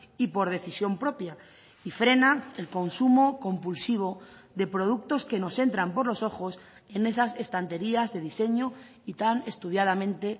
y por decisión propia y frena el consumo compulsivo de productos que nos entran por los ojos en esas estanterías de diseño y tan estudiadamente